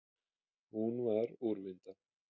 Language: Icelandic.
Hún var úrvinda.